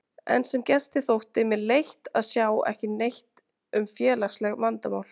En sem gesti þótti mér leitt að sjá ekki neitt um félagsleg vandamál